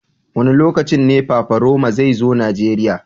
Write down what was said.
Wa ne lokacin ne Paparoma zai zo Nijeriya.